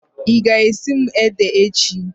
Ị ga-esiri m ede echi?